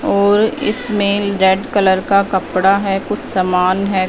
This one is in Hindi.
और इसमें रेड कलर का कपड़ा है कुछ समान है।